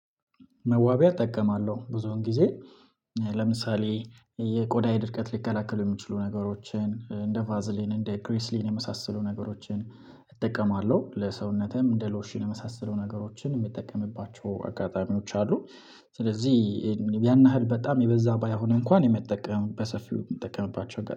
መዋቢያ እጠቀማለሁ ብዙውን ጊዜ። ለምሳሌ የቆዳየ ድርቀት ሊከላከሉ የሚችሉ ነገሮችን እንደ ቫዝሊን፣ እንደ ግሪስሊን የመሳሰሉ ነገሮችን እጠቀማለሁ ለሰውነቴም እንደ ሎሽን የመሳሰሉ ነገሮችን የሚጠቀምባቸው አጋጣሚዎች አሉ ስለዚህ ያን ያህል በጣም የበዛ ባይሆን እንኳን የመጠቀም በሰፊው የምጠቀምባቸው